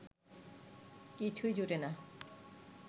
কিছুই জুটে না